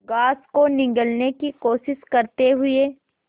grass को निगलने की कोशिश करते हुए